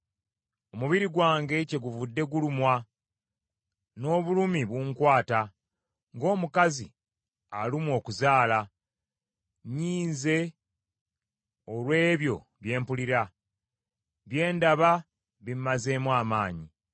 Omubiri gwange kyeguvudde gulumwa, n’obulumi bunkwata, ng’omukazi alumwa okuzaala; nnyiize olw’ebyo bye mpulira, bye ndaba bimazeemu amaanyi.